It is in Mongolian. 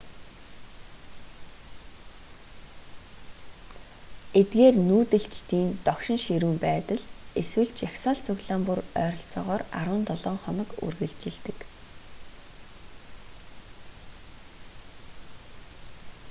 эдгээр нүүдэлчдийн догшин ширүүн байдал эсвэл жагсаал цуглаан бүр ойролцоогоор 17 хоног үргэлжилдэг